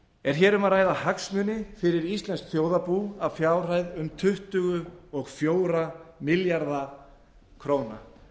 er hér um að ræða hagsmuni fyrir íslenskt þjóðarbú að fjárhæð um tuttugu og fjórir milljarðar króna